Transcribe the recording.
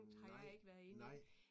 Nej nej